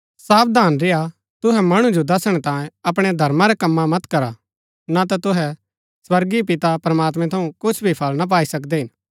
सावधान रेय्आ तुहै मणु जो दसणै तांयें अपणै धर्मा रै कम्मा मत करा न ता तुहै स्वर्गीय पिता प्रमात्मैं थऊँ कुछ भी फळ ना पाई सकदै हिन